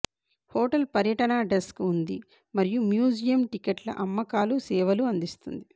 hotel పర్యటన desk ఉంది మరియు మ్యూజియం టిక్కెట్ల అమ్మకాలు సేవలు అందిస్తుంది